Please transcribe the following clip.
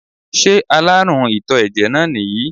Ṣé aláàrùn ìtò ẹ̀jẹ̀ náà nìyí?